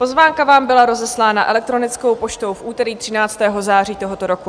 Pozvánka vám byla rozeslána elektronickou poštou v úterý 13. září tohoto roku.